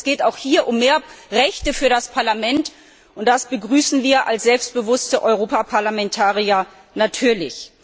Das heißt, es geht auch hier um mehr Rechte für das Parlament, und das begrüßen wir als selbstbewusste Europaparlamentarier natürlich.